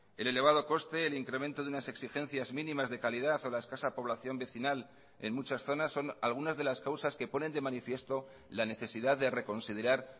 el elevado coste el incremento de unas exigencias mínimas de calidad o la escasa población vecinal en muchas zonas son algunas de las causas que ponen de manifiesto la necesidad de reconsiderar